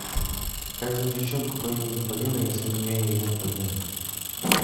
как зовут девчонку по имени полина если у нее имя полина